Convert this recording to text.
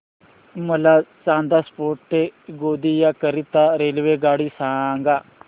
मला चांदा फोर्ट ते गोंदिया करीता रेल्वेगाडी सांगा